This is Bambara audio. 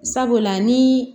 Sabula ni